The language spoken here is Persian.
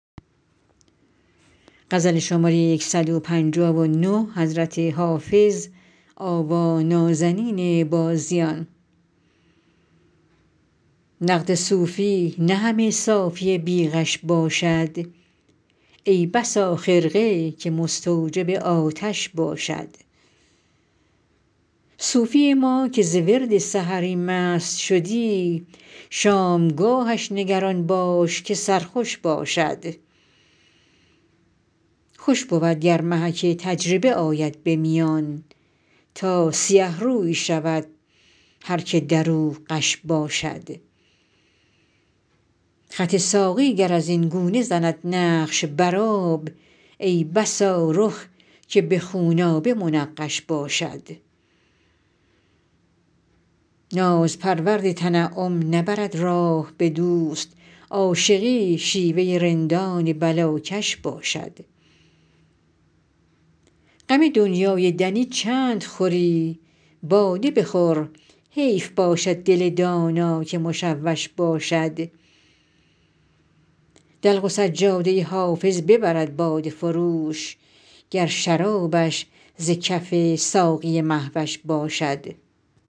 نقد صوفی نه همه صافی بی غش باشد ای بسا خرقه که مستوجب آتش باشد صوفی ما که ز ورد سحری مست شدی شامگاهش نگران باش که سرخوش باشد خوش بود گر محک تجربه آید به میان تا سیه روی شود هر که در او غش باشد خط ساقی گر از این گونه زند نقش بر آب ای بسا رخ که به خونآبه منقش باشد ناز پرورد تنعم نبرد راه به دوست عاشقی شیوه رندان بلاکش باشد غم دنیای دنی چند خوری باده بخور حیف باشد دل دانا که مشوش باشد دلق و سجاده حافظ ببرد باده فروش گر شرابش ز کف ساقی مه وش باشد